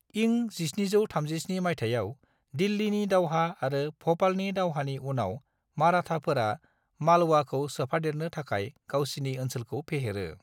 इं 1737 माइथायाव दिल्लीनि दावहा आरो भ'पालनि दावहानि उनाव माराटाफोरा मालवाखौ सोफादेरनो थाखाय गावसिनि ओनसोलखौ फेहेरो।